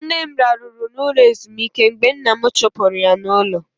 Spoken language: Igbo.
Nne m raruru na ụlọ ezumike mgbe nna m chupuru ya n'ulo.